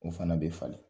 O fana bɛ falen